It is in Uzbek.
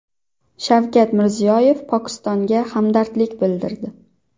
Shavkat Mirziyoyev Pokistonga hamdardlik bildirdi.